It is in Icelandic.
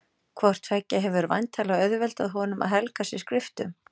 Hvort tveggja hefur væntanlega auðveldað honum að helga sig skriftum.